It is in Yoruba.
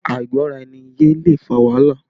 Àìgbọ́ra-ẹni-yé lè fa wàhálà